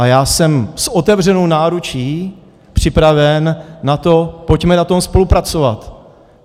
A já jsem s otevřenou náručí připraven na to, pojďme na tom spolupracovat.